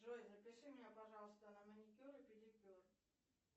джой запиши меня пожалуйста на маникюр и педикюр